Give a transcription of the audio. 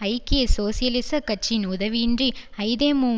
ஐக்கிய சோசியலிச கட்சியின் உதவியின்றி ஐதேமு